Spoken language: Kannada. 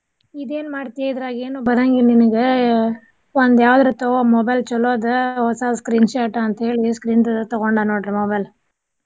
ಇದೇನ್ ಮಾಡ್ತಿಯೇ ಇದ್ರಾಗ ಏನು ಬರಾಂಗಿಲ್ಲ ನಿನಗ ಒಂದ್ ಯಾವ್ದಾರ ತಗೊ mobile ಚೊಲೋದ ಹೊಸ screenshot ಅಂತೇಳಿ screen ದ ತಗೊಂಡ ನೋಡ್ರಿ mobile .